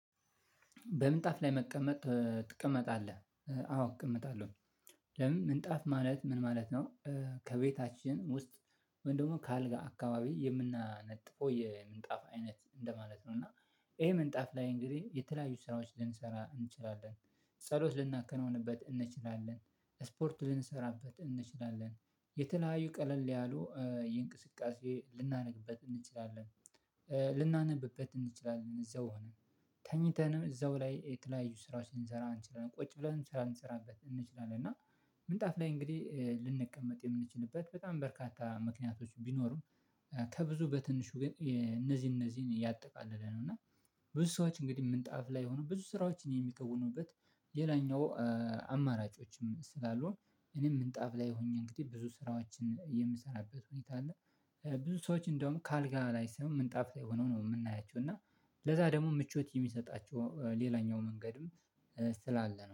በምንጣፍ ላይ መቀመጥ ትቀመጣለህ? አዎ እቀመጣለሁ። ለምን ምንጣፍ ማለት ምን ማለት ነው? ከቤታችን ውስጥ ወይም ደግሞ ከአልጋ አካባቢ የምናነጥፈው የምንጣፍ አይነት እንደማለት ነው። እና ይሄ ምንጣፍ ላይ እንግዲህ የተለያዩ ስራዎች ልንሰራ እንችላለን። ጸሎት ልናከናውንበት እንችላለን ስፖርት ልንሰራበት እንችላለን የተለያዩ ቀለል ያሉ የእንቅስቃሴ ልናነብበት እንችላለን። ልናነብበት እንችላለን እዛው ሆነ። ተኝተንም እዛው ላይ የተለያዩ ስራዎችን ልንሰራ እንችላለን ቁጭ ብለን ልንሰራ እንችላለን እና። ይሄ ምንጣፍ ላይ እንግዲህ የተለያዩ ስራዎች ልንሰራ እንችላለን ጸሎት ልናከናውንበት እንችላለን ስፖርት ልንሰራበት እንችላለን የተለያዩ ቀለል ያሉ የእንቅስቃሴ ልናደርግበት። እንችላለን ከብዙ በትንሹ እነዚህ እነዚህን እያጠቃልል እና ብዙ ሰዎች እንግዲህ ምንጣፍ ላይ ሆኖ ብዙ ስራዎችን የሚከውኑበት። ሌላኛው አማራጮችም ስላሉ እኔም ምንጣፍ ላይ ሆኜ እንግዲህ ብዙ ስራዎቻችን የምሰራበት ሁኔታ አለ። ብዙ ሰዎች እንደውም ከአልጋ ላይ ሳይሆን ምንጣፍ ላይ ሆነው ነው የምናያቸው። እና ለዛ ደግሞ ምቾት የሚሰጣቸው ሌላኛው መንገድም ስላለ ነው